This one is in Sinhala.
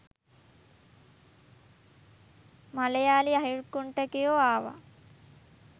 මලයාලි අහිගුන්ඨිකයෝ ආව